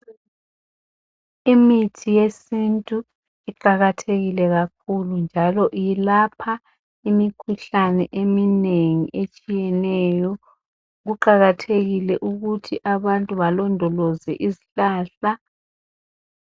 Imithi yesintu iqakathekile kakhulu njalo iyelapha imikhuhlane eminengi etshiyeneyo. Kuqakathekile ukuthi abantu balondoloze izihlahla.